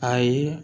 Ayi